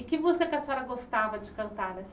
E que música que a senhora gostava de cantar nessa